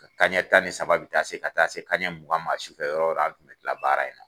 Ka ka ɲɛ tan ni saba bɛ taa se ka taa se kan mugan ma sufɛ yɔrɔ o yɔrɔ an tun bɛ kila baara in na.